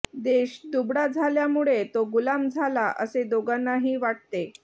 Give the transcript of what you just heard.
देश दुबळा झाल्यामुळे तो गुलाम झाला असे दोघांनाही वाटते